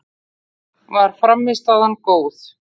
Var frammistaðan góð?